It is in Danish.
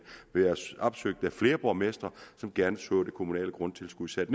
været opsøgt af flere borgmestre som gerne så det kommunale grundtilskud sat